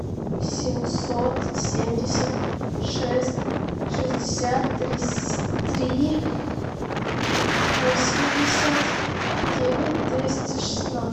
семьсот семьдесят шесть шестьдесят три восемьдесят девять двести шестнадцать